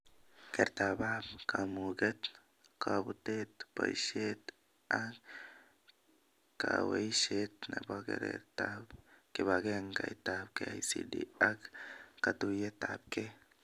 Kertabab kamuget, kabutet, boishet, ak kaweishet nebo keretab kibagengetab KICD ak katuyetabke